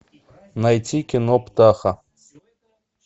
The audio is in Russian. найти кино птаха